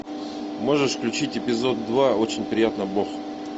можешь включить эпизод два очень приятно бог